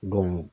Don